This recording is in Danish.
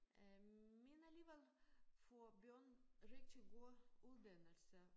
Øh men alligevel får børn rigtig gode uddannelser